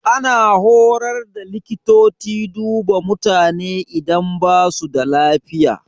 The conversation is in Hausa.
Ana horar da likitoci duba mutane idan ba su da lafiya.